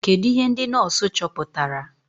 Kedụ ihe ndị nọọsụ chọpụtara?